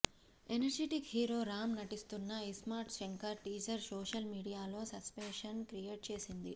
energetic hero Ram నటిస్తున్న iSmart Shankar teaser social మీడియాలో sensation create చేసింది